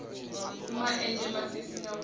ma enzhe masisi ha gumbu